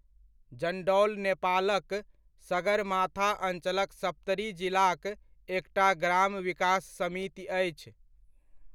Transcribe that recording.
जण्डौल नेपालक सगरमाथा अञ्चलक सप्तरी जिलाक एकटा ग्राम विकास समिति अछि।